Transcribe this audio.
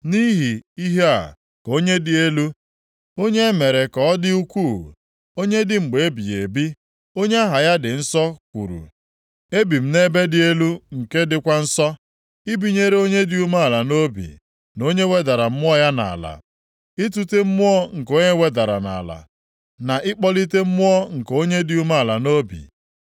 Nʼihi ihe a ka onye dị elu, onye e mere ka ọ dị ukwuu, onye dị mgbe ebighị ebi, onye aha ya dị nsọ kwuru: “Ebi m nʼebe dị elu nke dịkwa nsọ, ibinyere onye dị umeala nʼobi, na onye wedara mmụọ ya nʼala, itute mmụọ nke onye e wedara nʼala, na ịkpọlite mmụọ nke onye dị umeala nʼobi.